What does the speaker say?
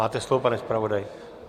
Máte slovo, pane zpravodaji.